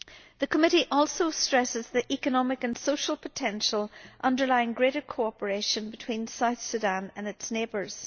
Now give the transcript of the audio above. The committee also stresses the economic and social potential underlying greater cooperation between South Sudan and its neighbours.